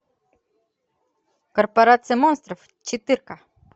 корпорация монстров четырка